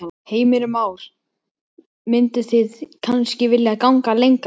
Heimir Már: Mynduð þið kannski vilja ganga lengra?